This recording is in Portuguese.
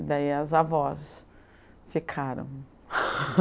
E daí as avós ficaram.